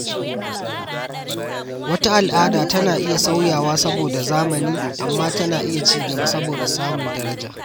Wata al’ada tana iya sauyawa saboda zamani amma tana iya ci gaba da samun daraja.